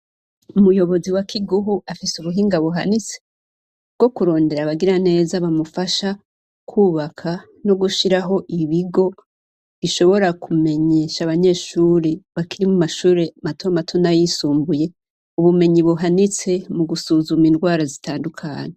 Umuyobozi wa Kiguhu afise ubuhinga buhanitse bwo kurondera abagiraneza bamufasha kwubaka no gushiraho ibigo bishobora kumenyesha abanyeshure bakiri mu mashure matomato n'ayisumbuye, ubumenyi buhanitse mu gusuzuma indwara zitandukanye.